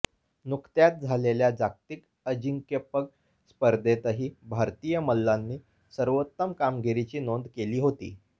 नुकत्याच झालेल्या जागतिक अजिंक्यपग स्पर्धेतही भारतीय मल्लांनी सर्वोत्तम कामगिरीची नोंद केली होती